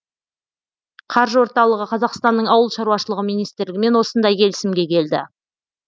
қаржы орталығы қазақстанның ауыл шаруашылығы министрлігімен осындай келісімге келді